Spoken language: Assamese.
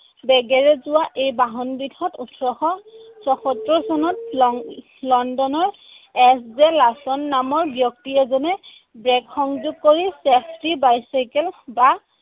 বেগেৰে যোৱা এই বাহনবিধত ওঠৰশ ছয়সত্তৰ চনত লণ্ডনৰ নামৰ ব্যক্তি এজনে brake সংযোগ কৰি safety bicycle বা